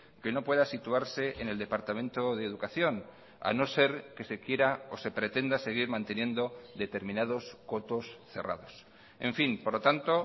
que no pueda situarse en el departamento de educación a no ser que se quiera o se pretenda seguir manteniendo determinados cotos cerrados en fin por lo tanto